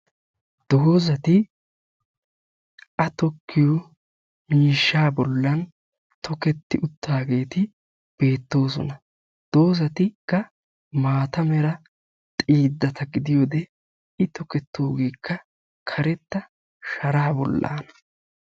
Dozatti a tokkiyoo miishsha bollani tokketti uttagetti beettosona, dozattikka maatta mera xiidatta gidiyode i tokketogekka karetta sharaa bollana.